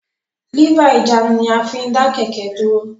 Lífà ìjánu ní a fín dá kẹ̀kẹ́ dúró